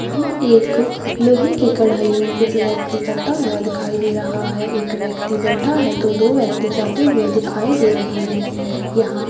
यहाँ एक लोहे की कढ़ाई में कुछ व्यक्ति करता हुआ दिखाई दे रहा है एक व्यक्ति बैठा है तो दो व्यक्ति जाते हुए दिखाई दे रहें हैं यहाँ--